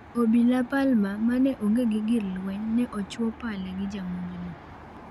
Obila Palmer, mane onge gi gir lweny, ne ochuo pala gi jamonjno.